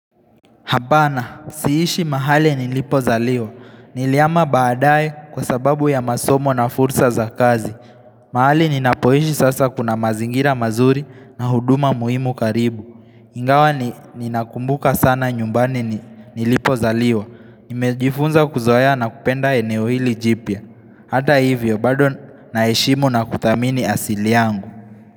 Hapana, siishi mahali nilipozaliwa. Nilihama baadaye kwa sababu ya masomo na fursa za kazi. Mahali ninapoishi sasa kuna mazingira mazuri na huduma muhimu karibu. Ingawa, ninakumbuka sana nyumbani nilipozaliwa. Nimejifunza kuzoea na kupenda eneo hili jipya. Hata hivyo, bado naheshimu na kuthamini asili yangu.